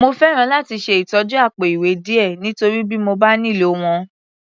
Mo fẹ́ràn láti ṣe ìtọ́jú àpò-ìwé díẹ̀, nítorí bí mo bá nílò wọn.